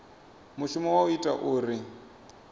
mushumo wa u ita uri